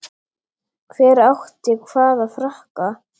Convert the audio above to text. Hver átti hvaða frakka?